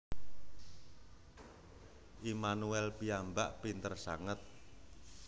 Immanuel piyambak pinter sanget